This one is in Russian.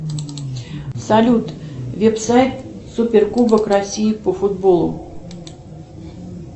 салют веб сайт супер кубок россии по футболу